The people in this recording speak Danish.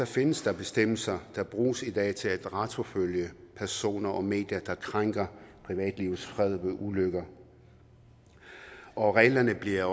findes der bestemmelser der bruges i dag til at retsforfølge personer og medier der krænker privatlivets fred ved ulykker og reglerne bliver